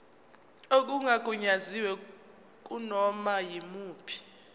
okungagunyaziwe kunoma yimuphi